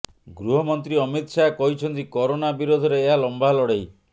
ଗୃହମନ୍ତ୍ରୀ ଅମିତ ଶାହା କହିଛନ୍ତି କରୋନା ବିରୋଧରେ ଏହା ଲମ୍ବା ଲଢେଇ